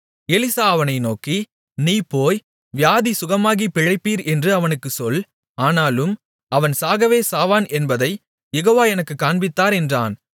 Elisha அவனை நோக்கி நீ போய் வியாதி சுகமாகிப் பிழைப்பீர் என்று அவனுக்குச் சொல் ஆனாலும் அவன் சாகவே சாவான் என்பதைக் யெகோவா எனக்குக் காண்பித்தார் என்றான்